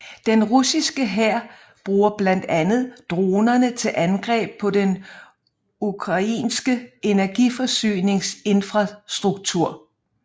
Den russiske hær bruger blandt andet dronerne til angreb på den ukrainske energiforsyningsinfrastruktur